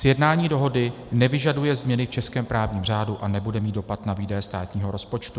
Sjednání dohody nevyžaduje změny v českém právním řádu a nebude mít dopad na výdaje státního rozpočtu.